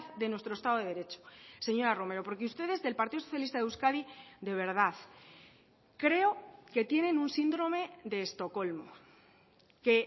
de nuestro estado de derecho señora romero porque ustedes del partido socialista de euskadi de verdad creo que tienen un síndrome de estocolmo que